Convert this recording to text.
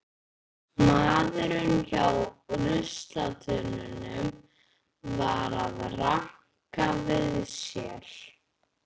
Maðurinn hjá ruslatunnunum var að ranka við sér.